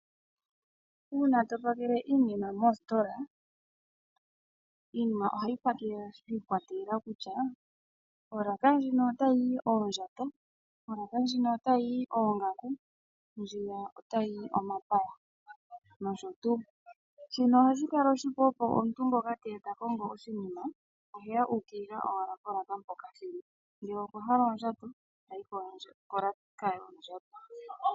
Uuna to pakele iinima moostola, iinima ohayi pakelwa shi ikwatelela kutya, olaaka ndjino otayi yi oondjato, olaaka ndjino otayi yi oongaku, ndjino otayi yi omapaya nosho tuu. Shino ohashi kala oshipu opo omuntu ngoka te ya ta kongo oshinima ohe ya uukilila owala polaaka mpoka shi li. Ngele okwa hala oondjato, ta yi kolaaka yoondjato.